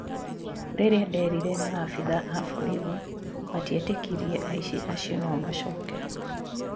"rĩrĩa nderire maafithaa a borithi matietĩkirie aĩci acio no macoke"